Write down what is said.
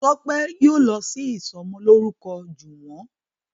Tope yíò lọ sì ìsomo lórúko juwon.